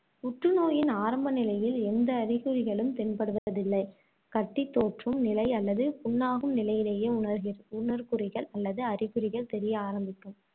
புற்றுநோயின் ஆரம்ப நிலையில் எந்த அறிகுறிகளும் தென்படுவதில்லை. கட்டி தோற்றும் நிலை அல்லது புண்ணாகும் நிலையிலேயே உணர்கி~ உணர்குறிகள் அல்லது அறிகுறிகள் தெரிய ஆரம்பிக்கும்.